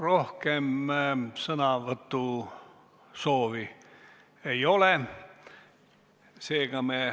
Rohkem sõnavõtusoove ei ole.